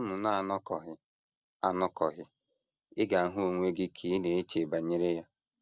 Mgbe unu na - anọkọghị anọkọghị, ị ga - ahụ onwe gị ka ị na - eche banyere ya.